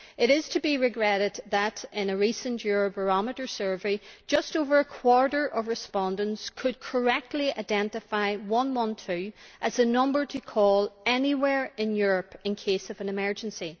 It is to be regretted that in a recent Eurobarometer survey just over a quarter of respondents could correctly identify 112 as a number to call anywhere in Europe in case of an emergency.